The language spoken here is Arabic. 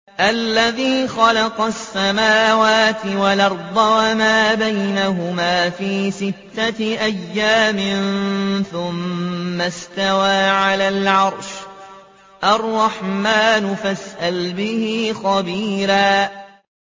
الَّذِي خَلَقَ السَّمَاوَاتِ وَالْأَرْضَ وَمَا بَيْنَهُمَا فِي سِتَّةِ أَيَّامٍ ثُمَّ اسْتَوَىٰ عَلَى الْعَرْشِ ۚ الرَّحْمَٰنُ فَاسْأَلْ بِهِ خَبِيرًا